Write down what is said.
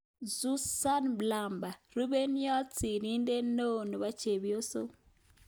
Suzan Mlapa. Rupeiywot sirindet neooChepyoso